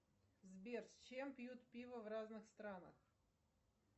сбер с чем пьют пиво в разных странах